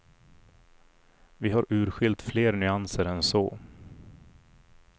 Vi har urskilt fler nyanser än så.